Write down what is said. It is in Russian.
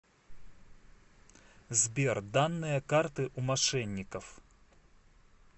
сбер данные карты у мошенников